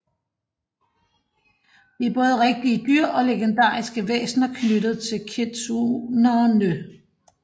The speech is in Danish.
De er både rigtige dyr og legendariske væsner knyttet til kitsuneerne